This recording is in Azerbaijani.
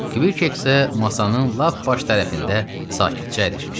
Kvik isə masanın lap baş tərəfində sakitcə əyləşmişdi.